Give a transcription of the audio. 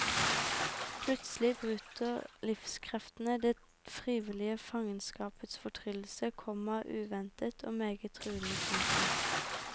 Plutselig bryter livskreftene det frivillige fangenskapets fortryllelse, komma uventet og meget truende. punktum